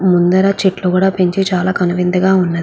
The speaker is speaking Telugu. ముందర చెట్లు కూడా పెంచి చాలా కనువిందు గా ఉన్నది.